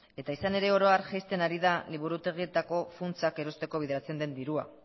eta izan ere oro har jaisten ari da liburutegietako funtsak erosteko bideratzen den dirua